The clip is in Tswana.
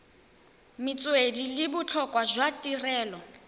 metswedi le botlhokwa jwa tirelo